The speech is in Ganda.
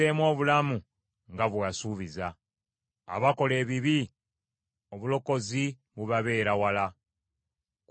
Abakola ebibi obulokozi bubabeera wala, kubanga tebanoonya mateeka go.